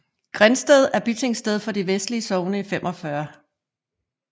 Grindsted er Bitingsted for de vestlige Sogne i 45